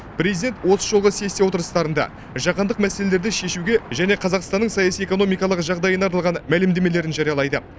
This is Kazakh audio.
президент осы жолғы сессия отырыстарында жаһандық мәселелерді шешуге және қазақстанның саяси экономикалық жағдайына арналған мәлімдемелерін жариялайды